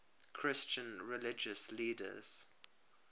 christian religious leaders